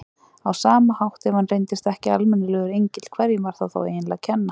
Á sama hátt, ef hann reyndist ekki almennilegur engill, hverjum var það eiginlega að kenna?